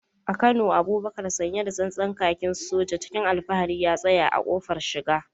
A Kano, Abubakar sanye da tsantsan kakin soja, cikin alfahari ya tsaya a kofar shiga.